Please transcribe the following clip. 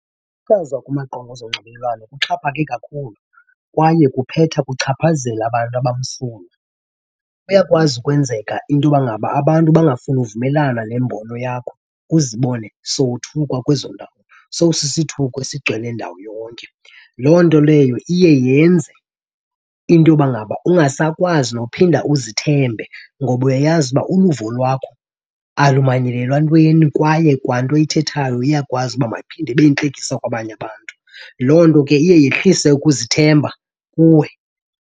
kumaqonga ezonxibelelwano kuxhaphake kakhulu kwaye kuphetha kuchaphazela abantu abamsulwa. Iyakwazi ukwenzeka into yoba ngaba abantu bangafuni uvumelana nembono yakho uzibone sowuthukwa kwezo ndawo, sowusisithuko esigcwele ndawo yonke. Loo nto leyo iye yenze into yoba ngaba ungasakwazi nophinda uzithembe ngoba uyayazi uba uluvo lwakho alumanyelelwa ntweni kwaye kwanto oyithethayo iyakwazi ukuba mayiphinde ibe yintlekisa kwabanye abantu. Loo nto ke iye yehlise ukuzithemba kuwe.